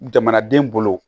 Jamanaden bolo